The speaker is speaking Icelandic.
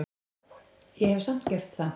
Ég hef samt gert það.